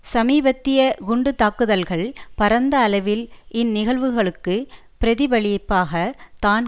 சமீபத்திய குண்டுத்தாக்குதல்கள் பரந்த அளவில் இந்நிகழ்வுகளுக்கு பிரதிபலிப்பாக தான்